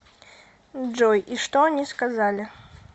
джой и что они сказали